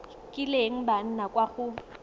kileng ba nna kwa go